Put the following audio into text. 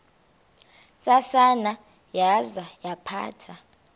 ntsasana yaza yaphatha